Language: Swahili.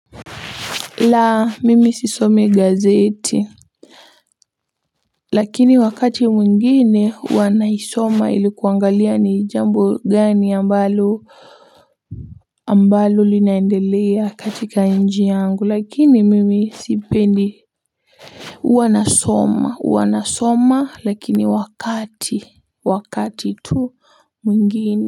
La mimi sisomi gazeti lakini wakati mwingine huwa naisoma ili kuangalia ni jambo gani ambalo ambalo linaendelea katika nji yangu lakini mimi sipendi huwa nasoma lakini wakati tu mwingine.